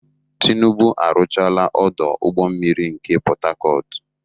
Tinubu arụchaala ọdọ ụgbọ mmiri nke Pọtakọọtụ.